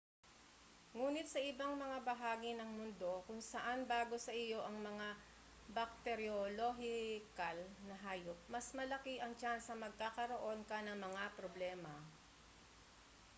nguni't sa ibang mga bahagi ng mundo kung saan bago sa iyo ang mga bakteriolohikal na hayop mas malaki ang tsansang magkakaroon ka ng mga problema